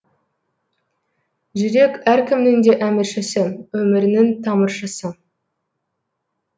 жүрек әркімнің де әміршісі өмірінің тамыршысы